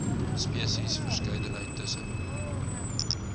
spesies verskeidenheid tussen